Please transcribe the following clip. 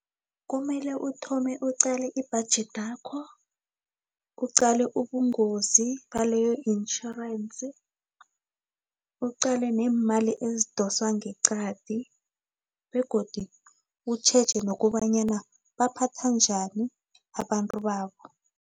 Kumele uthome uqale ibhajethi yakho, uqale ubungozi baleyo intjhorensi, uqale neemali ezidoswa ngeqadi, begodu utjheje nokobanyana baphatha njani abantu babo.